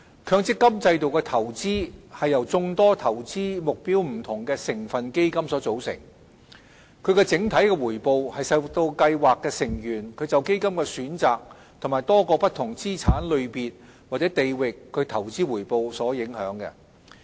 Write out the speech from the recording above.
強積金制度的投資是由眾多投資目標不同的成分基金組成，整體回報受到計劃成員就基金的選擇及多個不同資產類別或地域的投資回報所影響。